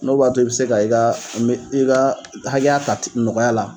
N'o b'a to i bɛ se ka i ka me i ka hakɛya ta nɔgɔya la